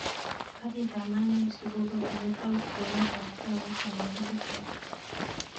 Karit ab maat neisubu kobune kwenut tab taunit tab nairobi sait ata